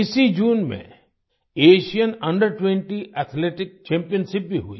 इसी जून में Asian under twenty athletics championship भी हुई